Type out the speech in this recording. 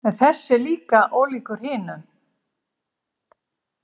En þessi er ólíkur hinum.